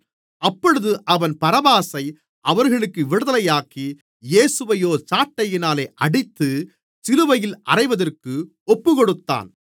அப்பொழுது அவன் பரபாசை அவர்களுக்கு விடுதலையாக்கி இயேசுவையோ சாட்டையினால் அடித்து சிலுவையில் அறைவதற்கு ஒப்புக்கொடுத்தான்